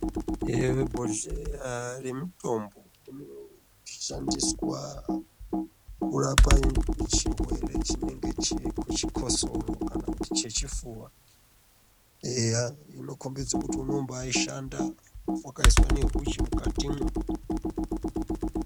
Eya bhohleya remutombo unoshandiswa kurapa chirwere chinenge chechikotsoro kana kuti chechipfuwa. Eya inokombidze kuti unombaishanda, wakaiswa nehuchi mukatimwo.